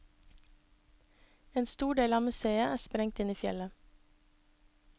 En stor del av museet er sprengt inn i fjellet.